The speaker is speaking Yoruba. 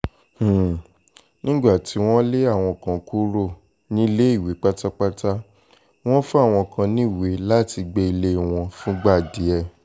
um nígbà tí wọ́n lé àwọn kan kúrò um níléèwé pátápátá wọ́n fún àwọn kan níwèé láti gbé ilé wọn fúngbà díẹ̀